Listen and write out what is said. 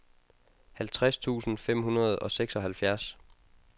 halvtreds tusind fem hundrede og seksoghalvfjerds